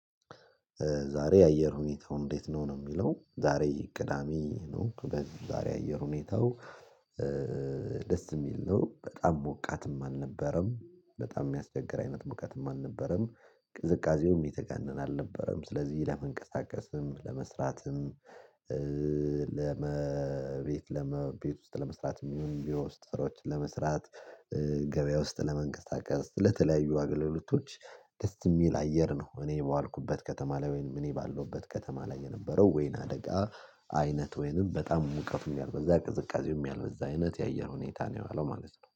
ዛሬ የአየር ሁኔታው እንዴት ነው ነው የሚለው። ዛሬ ቅዳሜ ነው በዛሬ የአየር ሁኔታው ደስ የሚል ነው በጣም ሞቃትም አልነበረም በጣም የሚያስቸግር አይነት ሞቃትም አልነበረም ቅዝቃዜውም የተጋነነ አልነበረም ስለዚህ ለመንቀሳቀስም ለመስራትም ለመቤት ለመቤት ውስጥ ለመስራት የሚሆን ቢሮ ውስጥ ስራዎችን ለመስራት ገበያ ውስጥ ለመንቀሳቀስ ለተለያዩ አገልግሎቶች ደስ የሚል አየር ነው እኔ በዋልኩበት ከተማ ላይ ወይንም እኔ ባለሁበት ከተማ ላይ የነበረው ወይን አደጋ አይነት ወይንም በጣም ሙቀቱን ያልበዛ ቅዝቃዜውም ያልበዛ አይነት የአየር ሁኔታ ነው ያለው ማለት ነው